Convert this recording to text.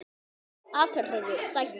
atriði: Sættir?